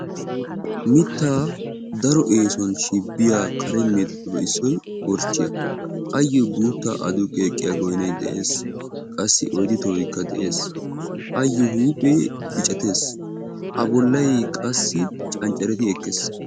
mittaa daro eesuwan shibbiya kare meedoossatuppe issoy korchchiya, ayyo guutta aduqqi ekkiya goynay de'ees. qassi oyddu tohoykka de'ees, ayyo huuphe biccatees. a bollay qassi canccaretti ekkees.